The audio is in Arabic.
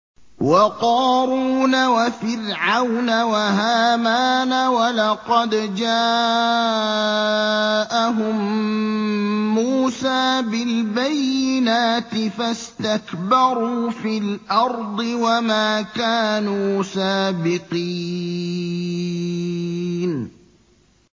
وَقَارُونَ وَفِرْعَوْنَ وَهَامَانَ ۖ وَلَقَدْ جَاءَهُم مُّوسَىٰ بِالْبَيِّنَاتِ فَاسْتَكْبَرُوا فِي الْأَرْضِ وَمَا كَانُوا سَابِقِينَ